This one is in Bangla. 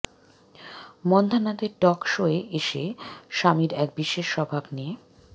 মন্ধানাদের টক শোয়ে এসে শামির এক বিশেষ স্বভাব নিয়ে